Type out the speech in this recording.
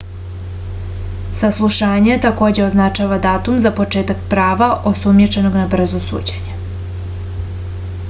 saslušanje takođe označava datum za početak prava osumnjičenog na brzo suđenje